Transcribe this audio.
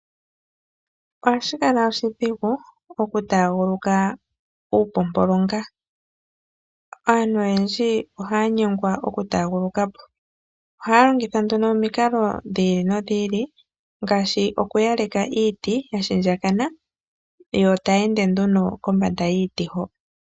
Ohashi kala oshidhigu oku taaguluka uupompolonga. Aantu oyendji ohaya nyengwa oku taaguluka po, ohaya longitha nduno omikalo dhi ili nodhi ili. Ngaashi oku yaleka iiti ya shindjakana yo taya ende nduno kombanda yiiti ho.